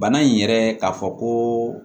Bana in yɛrɛ k'a fɔ ko